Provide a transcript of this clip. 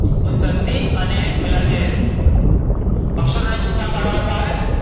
સંધિ અને પેલા જે અક્ષરો ને છૂટા પાડવા વારુ આવે ને!